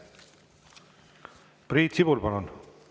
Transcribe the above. Priit Sibul, palun!